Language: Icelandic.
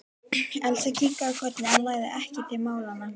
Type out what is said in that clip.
Elsa kinkaði kolli en lagði ekkert til málanna.